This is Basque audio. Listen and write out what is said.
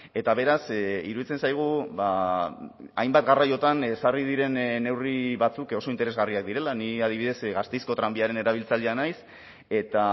eta beraz iruditzen zaigu hainbat garraiotan ezarri diren neurri batzuk oso interesgarriak direla ni adibidez gasteizko tranbiaren erabiltzailea naiz eta